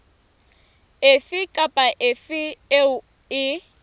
efe kapa efe eo e